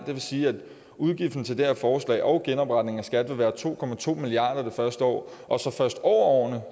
det vil sige at udgiften til det her forslag og genopretning af skat vil være to milliard kroner det første år og så først over